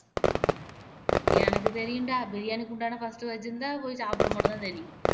எனக்கு தெரியும்டா பிரியாணி குண்டான first வச்சி இருந்தா போய் சாப்பிட மட்டும் தான் தெரியும்